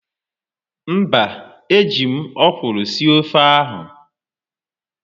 Mba, ejiri m ọkwụrụ sie ofe ahụ.